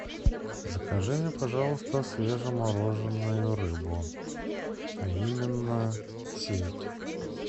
закажи мне пожалуйста свежемороженную рыбу а именно сельдь